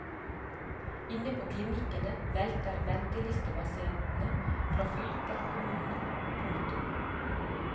Inn på klinikkene velter ventelistepasienter fra fylker og kommuner. punktum